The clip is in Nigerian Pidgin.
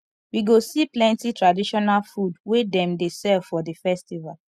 we go see plenty traditional food wey dem dey sell for di festival